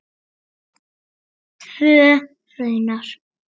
Tvö raunar.